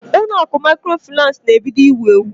Ụlọ akụ maịkrofaịnans na-ebido iwu ewu.